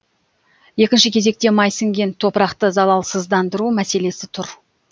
екінші кезекте май сіңген топырақты залалсыздандыру мәселесі тұр